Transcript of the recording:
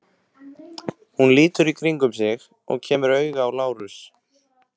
Hún lítur í kringum sig og kemur auga á Lárus.